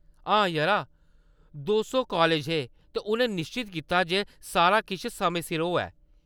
हां यरा, दऊं सौ कालज हे ते उʼनें निश्चत कीता जे सारा किश समें सिर होऐ।